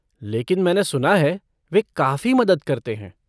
लेकिन मैंने सुना है वे काफ़ी मदद करते हैं।